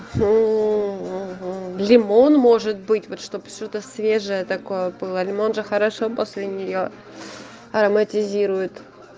лимон может быть чтоб что то свежая такое было лимон же хорошо после нее ароматизируют